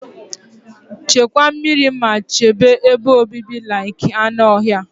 Chekwa meri ma chebe ebe obibi like anụ ọhịa.